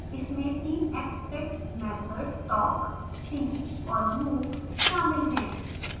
इसमें तीन abstract methods talk see और move शामिल हैं